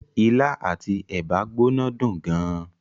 Ilá àti ẹ̀bà gbóná dùn gan.